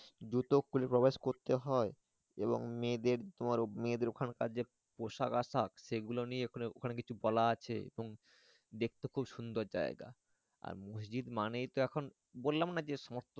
দুটো কুলি কবজ করতে হয় এবং মেয়েদের তোমার মেয়েদের ওখানকার যে পোশাক আশাক সেগুলো নিয়ে ওখানেকিছু বলা আছে এবংদেখেতে খুব সুন্দর জায়গা আর মসজিদ মানেই তো এখন বললাম না যে সমস্ত।